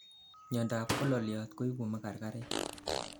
miandap kololiot koibu magargarek